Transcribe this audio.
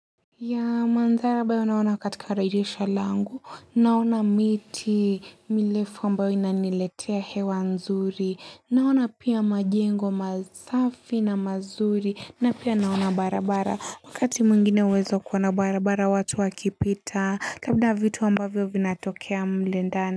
Ya mandhara ambayo naona katika dijisha langu naona miti milefu ambayo inaniletea hewa nzuri naona pia majengo masafi na mazuri na pia naona barabara wakati mwingine huweza kuona barabara watu wakipita labda vitu ambavyo vinatokea mlendana.